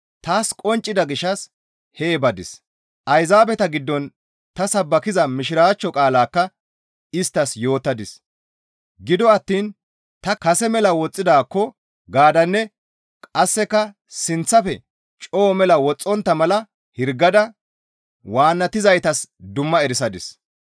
Taas qonccida gishshas hee badis; Ayzaabeta giddon ta sabbakiza Mishiraachcho qaalaakka isttas yootadis; gido attiin ta kase mela woxxidaakko gaadanne qasseka sinththafe coo mela woxxontta mala hirgada waannatizaytas dumma erisadis.